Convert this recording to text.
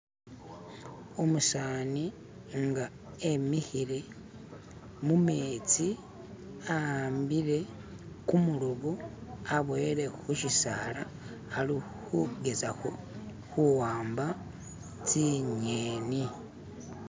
umusani nga emihile mumetsi ahambile kumulobo aboyele hushisaala ali hugezaho huwamba tsinyeni